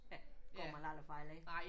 Ja går man aldrig fejl af